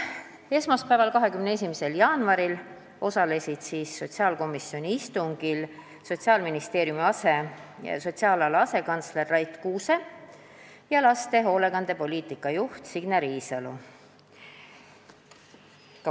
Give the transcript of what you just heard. Esmaspäeval, 21. jaanuaril osalesid sotsiaalkomisjoni istungil Sotsiaalministeeriumi sotsiaalala asekantsler Rait Kuuse ja laste hoolekandepoliitika juht Signe Riisalo.